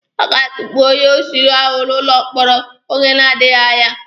A ga-atukpu onye oshi ahụ n'ụlọ mkpọrọ oge na-adịghi anya.